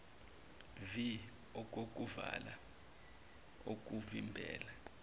vii okokuvala okuvimbela